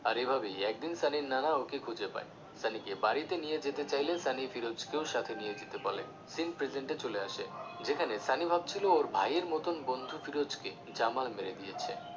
আর এভাবেই একদিন সানির নানা ওকে খুঁজে পায় সানিকে বাড়িতে নিয়ে যেতে চাইলে সানি ফিরোজকে ও সাথে নিয়ে যেতে বলে scene present চলে আসে, যেখানে সানি ভাবছিলো ওর ভাইয়ের মতন বন্ধু ফিরোজকে জামাল মেরে দিয়েছে